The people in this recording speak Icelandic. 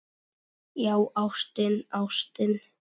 Já, ástin, ástin.